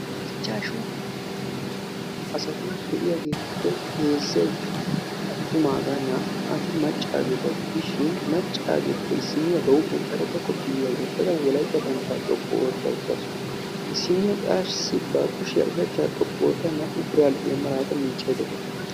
Ichchashu asati de"iyageetuppe heezzay attumaagaa naa"ati maccaageeta gidishin macaageetuppe issinniya ba huuphiyan karetta koppiyaa wottada wolaytta banddiraa xoqqu ootta uttaasu. Issinniyaa qassi ba kushiya ushachchaa xoqqu oottada naa"u biradhdhiyaa malaata miiccaydda dawus.